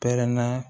Pɛrɛnna